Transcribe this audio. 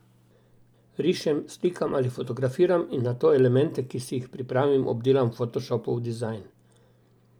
Rišem, slikam ali fotografiram in nato elemente, ki si jih pripravim, obdelam v fotošopu v dizajn.